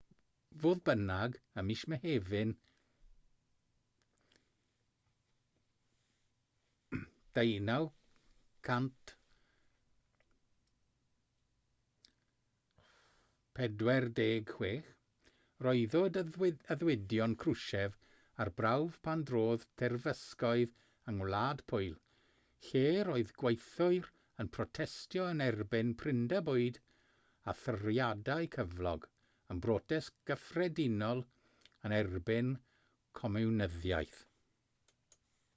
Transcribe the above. fodd bynnag ym mis mehefin 1956 rhoddwyd addewidion krushchev ar brawf pan drodd terfysgoedd yng ngwlad pwyl lle'r oedd gweithwyr yn protestio yn erbyn prinder bwyd a thoriadau cyflog yn brotest gyffredinol yn erbyn comiwnyddiaeth